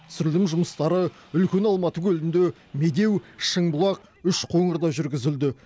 түсірілім жұмыстары үлкен алматы көлінде медеу шыңбұлақ үшқоңырда жүргізілді